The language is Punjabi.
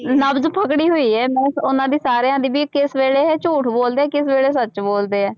ਨਬਜ਼ ਪਕੜੀ ਹੋਈ ਹੈ ਮੈਂ ਉਹਨਾਂ ਦੀ ਸਾਰਿਆਂ ਦੀ ਵੀ ਕਿਸ ਵੇਲੇ ਇਹ ਝੂਠ ਬੋਲਦੇ ਹੈ ਕਿਸ ਵੇਲੇ ਸੱਚ ਬੋਲਦੇ ਹੈ।